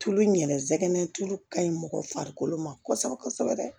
Tulu in yɛlɛmɛ tulu ka ɲi mɔgɔ farikolo ma kosɛbɛ kosɛbɛ